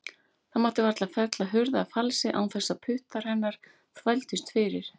Það mátti varla fella hurð að falsi án þess að puttar hennar þvældust fyrir.